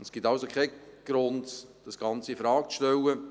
Es gibt also keinen Grund, das Ganze in Frage zu stellen.